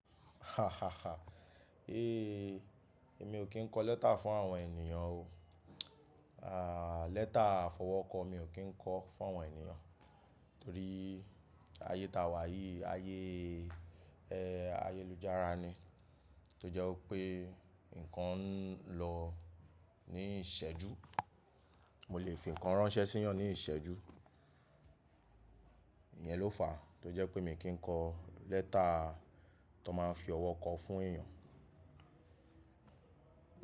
Éè mi ò kí ń kọ lẹ́tà fún àwọn ènìyàn o. Àá, lẹ́tà àfọwọ́kọ mi ò kí ń kọ fún àwọn ènìyàn torí ayé ta wà yìí, ayé ẹ, ayélujára ni tó jẹ́ ó pé nǹkan ń lọ ní ìṣẹ́jú, mo lè fi nǹkan ránṣẹ́ sí ọ ní ìṣẹ́jú. Iyẹn ló fàá tó jẹ́ pé mi kì í kọ lẹ́tà tó máa ń fi ọwọ́ kọ fún èèyàn.